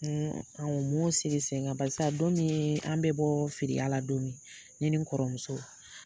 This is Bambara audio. An u m'o sigi sen kan barisa don min an bɛ bɔ filiya la don min ne ni n kɔrɔmuso